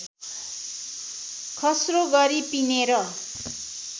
खस्रो गरी पिनेर